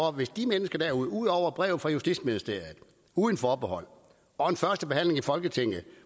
og hvis de mennesker derude ud over brevet fra justitsministeriet uden forbehold og en førstebehandling i folketinget